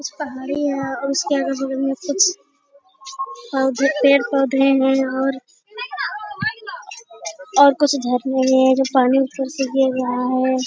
कुछ पहाड़ी हैं और उसके अगल-बगल में कुछ और ये पेड़ पौधे हैं और और कुछ झरने हैं जो पानी ऊपर से गिर रहा है।